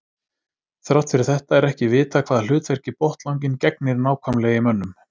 Þrátt fyrir þetta er ekki vitað hvaða hlutverki botnlanginn gegnir nákvæmlega í mönnum.